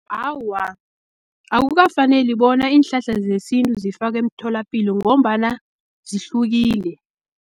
Awa, akukafaneli bona iinhlahla zesintu zifakwe emtholapilo, ngombana zihlukile.